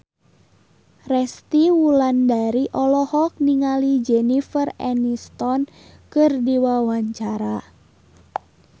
Resty Wulandari olohok ningali Jennifer Aniston keur diwawancara